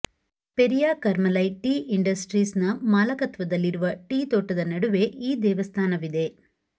Periyar Karamalai tea industries ನ ಮಾಲಕತ್ವದಲ್ಲಿರುವ tea ತೋಟದ ನಡುವೆ ಈ ದೇವಸ್ಥಾನವಿದೆ